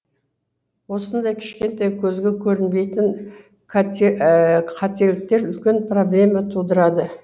осындай кішкентай көзге көрінбейтін қателіктер үлкен проблема тудырады